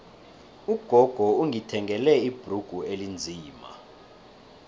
ugogo ungithengele ibhrugu elinzima